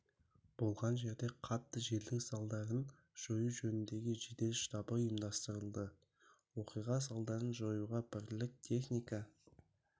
болған жерде қатты желдің салдарын жою жөніндегі жедел штабы ұйымдастырылды оқиға салдарын жоюға бірлік техника